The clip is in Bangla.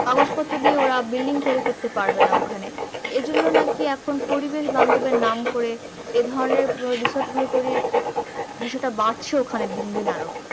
কাগজপত্র দিয়ে বিল্ডিং তৈরী করতে পারবেনা ওখানে এইজন্য নাকি এখন পরিবেশ বান্ধব এর নাম করে এইধরণের রিসোর্ট গুলো তৈরী বিষয়টা বাড়ছে ওখানে দিন দিন আরো